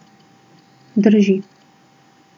Drži.